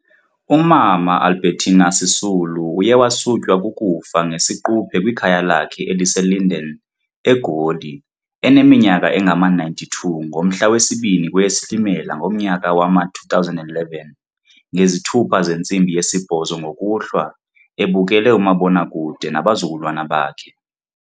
uMama Albertina Sisulu uyewasutywa kukufa ngesiquphe kwikhaya lakhe eliseLinden, eGoli, eneminyaka engama-92 ngomhla wesi-2 kweyeSilimela ngomnyaka wama-2011 ngezithuba zentsimbi yesibhozo ngokuhlwa, ebukele umabonakude nabazukulwana bakhe.